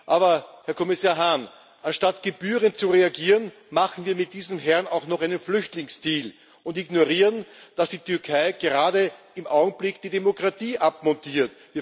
Aber, Herr Kommissar Hahn, anstatt gebührend zu reagieren, machen wir mit diesem Herrn auch noch einen Flüchtlingsdeal und ignorieren, dass die Türkei gerade im Augenblick die Demokratie abmontiert.